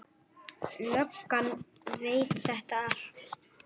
Löggan veit þetta allt.